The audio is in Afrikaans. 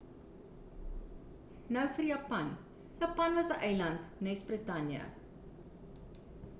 nou vir japan japan was 'n eiland nes britanje